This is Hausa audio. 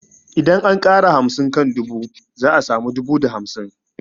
Idan an ƙara hamsin kan dubu za a samu dubu da hamsin